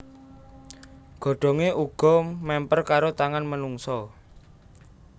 Godhongé uga mèmper karo tangan menungsa